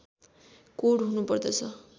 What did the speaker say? code हुनु पर्दछ